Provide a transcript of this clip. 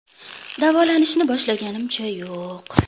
Davolanishni boshlaganimcha yo‘q.